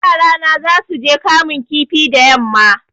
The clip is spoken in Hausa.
Yarana zasuje kamun kifi da yamma